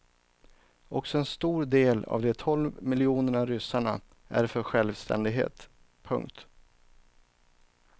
Också en stor del av de tolv miljonerna ryssarna är för självständighet. punkt